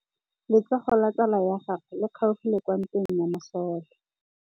Letsôgô la tsala ya gagwe le kgaogile kwa ntweng ya masole.